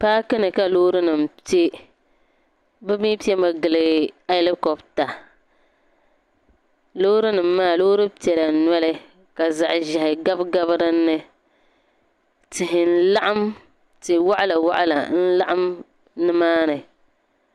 Paaki ni ka loorinima pe bɛ mi pemi gili alikopita loorinima maa loori piɛla nɔli ka zaɣ'ʒɛhi gabigabi di ni ti'waɣilawaɣila nimaani.